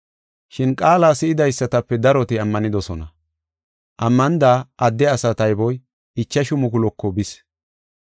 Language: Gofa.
Shin qaala si7idaysatape daroti ammanidosona. Ammanida adde asaa tayboy ichashu mukuluko bis.